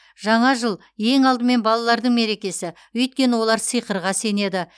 жаңа жыл ең алдымен балалардың мерекесі өйткені олар сиқырға сенеді